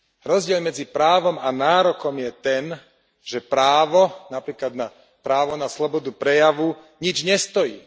Rozdiel medzi právom a nárokom je ten, že právo, napríklad právo na slobodu prejavu, nič nestojí.